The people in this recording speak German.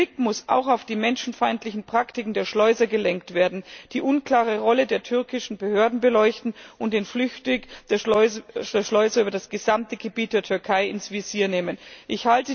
Der Blick muss auch auf die menschenfeindlichen Praktiken der Schleuser gelenkt werden, die unklare Rolle der türkischen Behörden muss beleuchtet und der Fluchtweg der Schleuser über das gesamte Gebiet der Türkei ins Visier genommen werden.